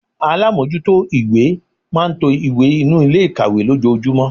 Alámójútó ìwé máa n to ìwé inú Ilé ikawe lójojúmó